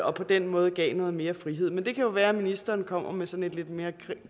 og på den måde gav noget mere frihed men det kan jo være at ministeren kommer med sådan en lidt mere